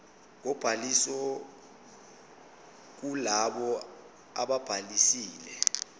kobhaliso kulabo ababhalisile